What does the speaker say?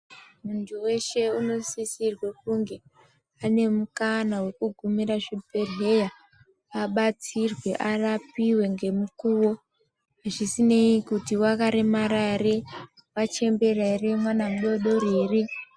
Muntu weshe anosisirwa kunge ane mukana weku giumire zvibhedhlera adetserwe arapiwe ngemukuwo zvisinei kuti wakaremara here wachembera here mwana mudodori ere.